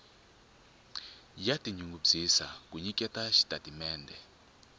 ya tinyungubyisa ku nyiketa xitatimendhe